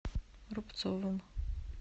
рубцовым